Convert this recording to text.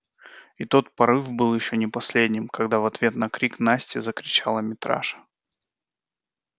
и тот порыв был ещё не последним когда в ответ на крик насти закричала митраша